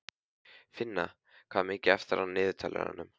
Finna, hvað er mikið eftir af niðurteljaranum?